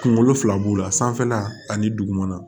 Kunkolo fila b'o la sanfɛla ani dugumana